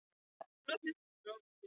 Við tökum ákvarðanir sem reynast misvel.